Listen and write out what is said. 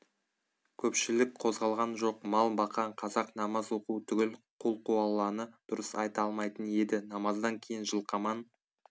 көпшілік қозғалған жоқ мал баққан қазақ намаз оқу түгіл құлқуалланы дұрыс айта алмайтын еді намаздан кейін жылқаман